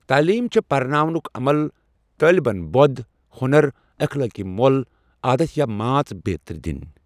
تعلیٖم چھےٚ پرناونُک عمل، طٲلۍبن بۆد، ہۄنَر، اِخلٲقی مۄل، عادتھ یا مانژ بیترِ دٕنۍ۔